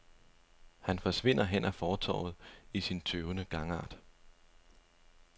Han forsvinder hen ad fortovet i sin tøvende gangart.